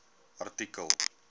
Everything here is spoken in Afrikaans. artikel